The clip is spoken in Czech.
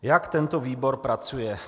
Jak tento výbor pracuje?